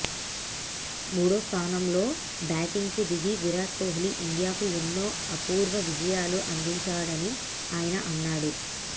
మూడో స్థానంలో బ్యాటింగ్ కు దిగి విరాట్ కోహ్లీ ఇండియాకు ఎన్నో అపూర్వ విజయాలు అందించాడని ఆయన అన్నాడు